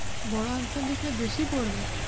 বড় answer লিখলে বেশি পড়বে?